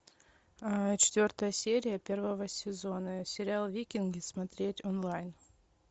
четвертая серия первого сезона сериал викинги смотреть онлайн